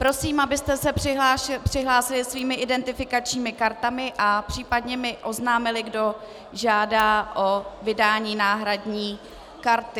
Prosím, abyste se přihlásili svými identifikačními kartami a případně mi oznámili, kdo žádá o vydání náhradní karty.